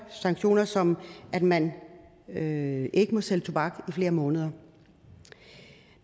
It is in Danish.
sanktioner som at man ikke må sælge tobak i flere måneder